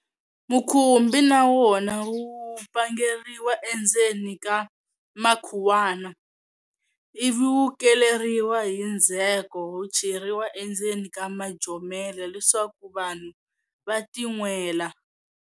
Mukhubi na wona wu pangeriwa endzeni ka makhuwana, ivi wu keleriwa hi ndzheko wu cheriwa endzeni ka majomela leswaku vanhu va tinwela.